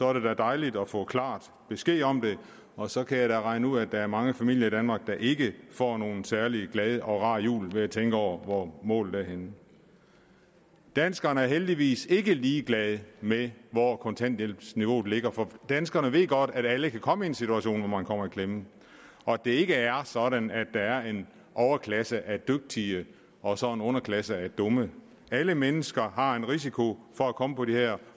er det da dejligt at få klar besked om det og så kan jeg da regne ud at der er mange familier i danmark der ikke får nogen særlig glad og rar jul ved at tænke over hvor målet er henne danskerne er heldigvis ikke ligeglade med hvor kontanthjælpsniveauet ligger for danskerne ved godt at alle kan komme i en situation hvor man kommer i klemme og at det ikke er sådan at der er en overklasse af dygtige og så en underklasse af dumme alle mennesker har en risiko for at komme på det her